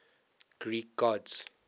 greek gods